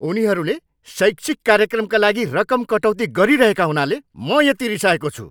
उनीहरूले शैक्षिक कार्यक्रमका लागि रकम कटौती गरिरहेका हुनाले म यति रिसाएको छु।